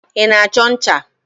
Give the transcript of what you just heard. Ị na-achọ ncha?